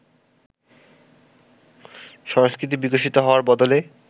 সংস্কৃতি বিকশিত হওয়ার বদলে